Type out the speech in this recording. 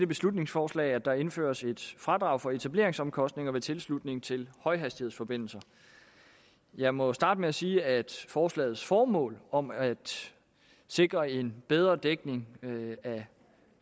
beslutningsforslag at der indføres et fradrag for etableringsomkostninger ved tilslutning til højhastighedsforbindelser jeg må starte med at sige at forslagets formål om at sikre en bedre dækning af